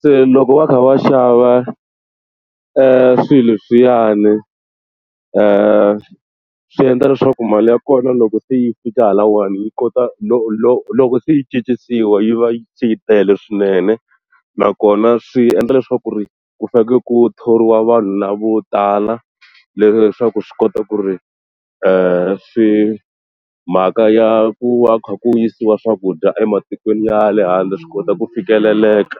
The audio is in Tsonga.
se loko va kha va xava swilo leswiyani swi endla leswaku mali ya kona loko se yi fika haleniwa yi kota no loko se yi cincisiwa yi va yi se yi tele swinene nakona swi endla leswaku ri ku fanekele ku thoriwa vanhu lava vo tala leswaku swi kota ku ri swi mhaka ya ku va kha ku yisiwa swakudya ematikweni ya le handle swi kota ku fikeleleka.